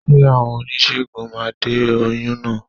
Ṣé àwọn oníṣègùn máa de oyún náà?